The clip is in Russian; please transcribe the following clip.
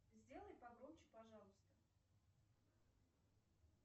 сделай погромче пожалуйста